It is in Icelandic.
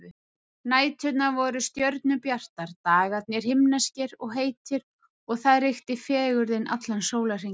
Næturnar voru stjörnubjartar, dagarnir himneskir og heitir og þar ríkti fegurðin allan sólarhringinn.